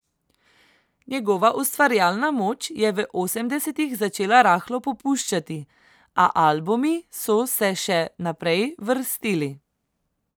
Njegova ustvarjalna moč je v osemdesetih začela rahlo popuščati, a albumi so se še naprej vrstili.